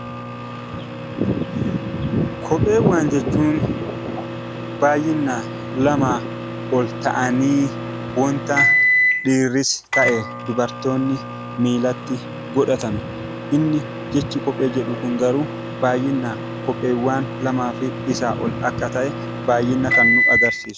Kopheewwan jechuun baay'inaan lamaa ol ta'anii wanta dhiirris ta'ee dubartoonni miilatti godhatan jechi kophee jedhu kun garuu baay'ina kan nu agarsiisudha.